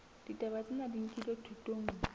ditaba tsena di nkilwe thutong